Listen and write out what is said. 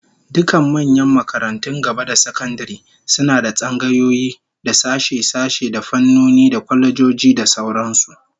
Dukkan manyan makarantun gaba da sakandare suna da tsangayoyi, da sashe-sashe, da fannoni, da kwalejoji da sauran su